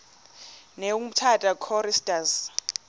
ne umtata choristers